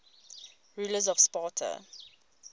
rulers of sparta